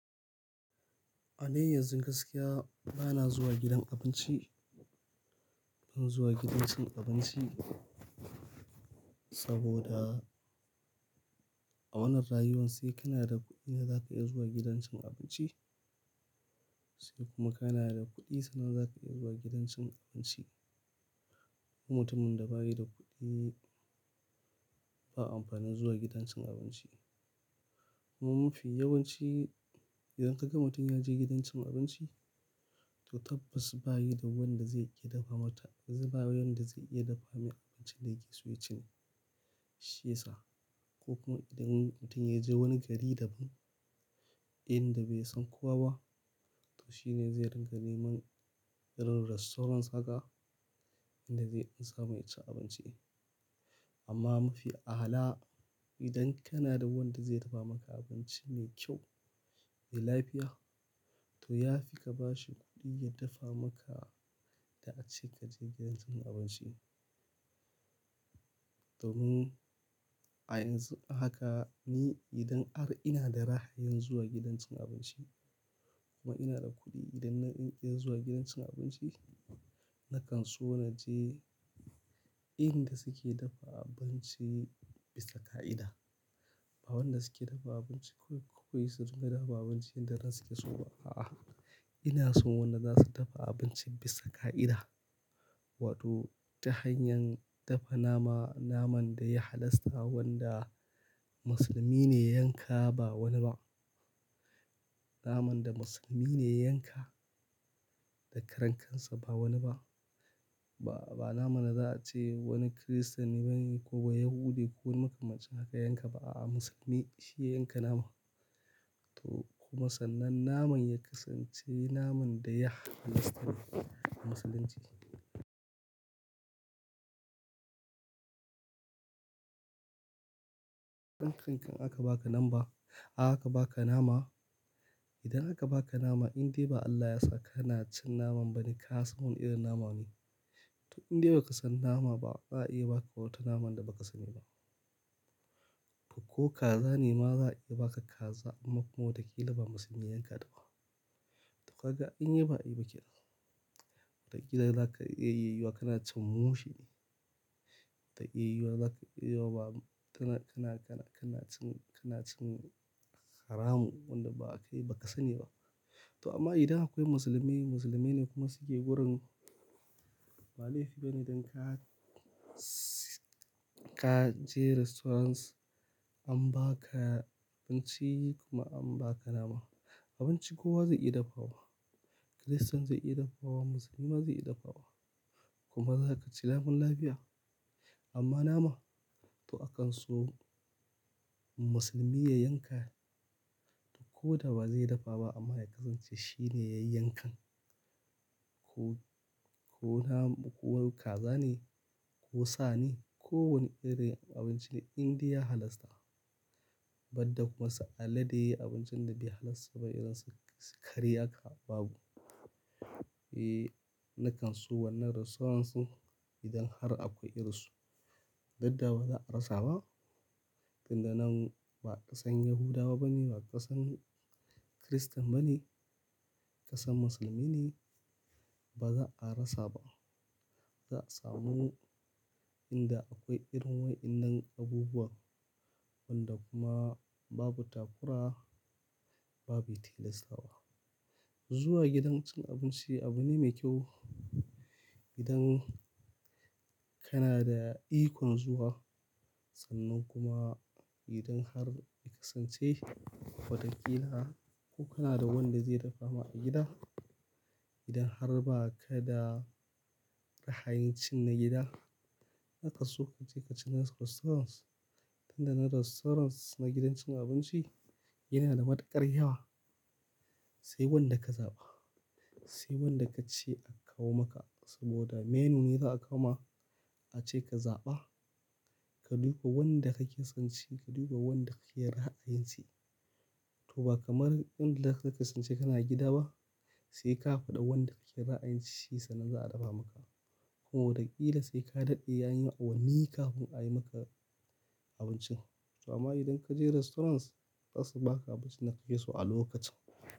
A dai yanzun gaskiya ba na zuwa gidan abinci, ban zuwa gidan cin abinci saboda a wannan rayuwar sai kana da kuɗi da za ka iya zuwa gidan cin abinci sai kuma kana da kuɗi sannan za ka iya zuwa gidan cin abinci. Kuma mutumin da ba yi da kuɗi ba amfanin zuwa gidan cin abinci. Kuma mafi yawanci idan ka ga mutum ya je gidan cin abinci to tabbas ba yi da wanda zai iya dafa mata, ba yi da wanda zai iya dafa mai abinci da yake so ya ci shi yasa. Ko kuma idan mutum ya je wani gari daban inda bai san kowa ba to shine zai ringa neman irin restaurants haka inda zai ansa mai ya ci abinci. Amma mafi ahala idan kana da wanda zai dafa maka abinci mai kyau, mai lafiya to ya fi ka ba shi kuɗi ya dafa maka da ace ka je gidan cin abinci. Domin a yanzu haka ni idan har ina da ra'ayin zuwa gidan cin abinci kuma ina da kuɗi idan na iya zuwa gidan cin abinci nakan so na je inda suke dafa abinci bisa ka'ida. Ba wanda suke dafa abinci kawai ko su riga dafa abinci inda ransu ke so ba. A'a, ina so wanda za su dafa abinci bisa ka'ida. Wato ta hanyar dafa nama, naman da ya halasta wanda musulmi ne ya yanka ba wani ba. Naman da musulmi ne ya yanka da karen kansa ba wani ba. Ba, ba naman da za a ce wani Christian bane ko Bayahude ko wani makamancin haka ya yanka ba a'a musulmi shi ya yanka naman. To kuma sannan naman ya kasance naman da ya halasta a Musulunci. Idan karen kan aka baka lamba, aka baka nama, idan aka baka nama indai ba Allah ya sa kana cin naman ba ne ka san wane irin nama ne. To indai ba ka san nama ba za a iya baka wata naman da ba ka sani ba. Ko kaza ne ma za a iya baka kaza amma kuma wata ƙila ba musulmi ya yanka ta ba. To kaga anyi ba a yi ba kenan. Watakila za ka iya yi wa kana cin mushe. Zata iya da za ka iya yi wa ba tana, kana, kana cin, kana cin haramu wanda ba ka yi, bai ba ka sani ba. To amma idan akwai musulmai, musulmai ne kuma suke wurin, ba laifi bane idan ka, ka je restaurants an baka abinci kuma an baka nama. Abinci kowa zai iya dafawa. Christian zai iya dafawa, musulmi ma zai iya dafawa kuma za ka ci lamun lafiya. Amma nama to akanso musulmi ya yanka ko da ba zai dafa ba amma ya kasance shine ya yi yankan. Ko, ko nama ko wani kaza ne ko sa ne ko wani irin abinci ne indai ya halasta. Badda kuma su alade abincin da bai halasta ba irin su kare haka babu. E, nakan so wannan restaurants ɗin idan har akwai irin su. Yadda ba za a rasa ba. Tunda nan ba a san Yahudawa bane, ba ƙasan Christain bane, ƙasan Musulmi ne ba za a rasa ba. Za a samu inda akwai irin wa'innan abubuwan wanda kuma babu takura, babu tilastawa. Zuwa gidan cin abinci abu ne mai kyau idan kana da ikon zuwa. Sannan kuma idan har ya kasance wataƙila ko kana da wanda zai dafa ma a gida. Idan har ba ka da ra'a yin cin na gida zaka so ka je ka ci na restaurants. Tunda na restaurants na gidan cin abinci yana da matuƙar yawa. Sai wanda ka zaɓa. Sai wanda ka ce akawo maka saboda menu ne za a kawo ma ace ka zaɓa. Ka duba wanda kake son ci, ka duba wanda kake ra'a yin ci. To ba kamar inda za ka kasance kana gida ba sai ka faɗa wanda kake ra'a yin ci sannan za a dafa maka. Kuma wataƙila sai ka daɗe yayi awanni kafin a yi maka abincin. To amma idan ka je restaurants za su baka abinci da kake so a lokacin.